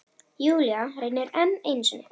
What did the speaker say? Júlía reynir enn einu sinni.